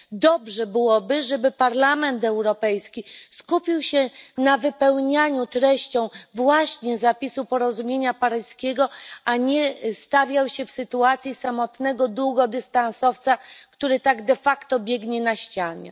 Dobrze byłoby, aby Parlament Europejski skupił się na wypełnianiu treścią właśnie zapisu porozumienia paryskiego, a nie stawiał się w sytuacji samotnego długodystansowca, który tak de facto biegnie na ścianie.